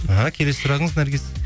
іхі келесі сұрағыңыз наргиз